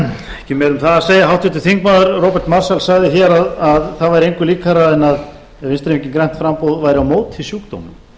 ekki meira um það að segja háttvirtur þingmaður róbert marshall sagði hér að það væri engu líkara en að vinstri hreyfingin grænt framboð væri á móti sjúkdómum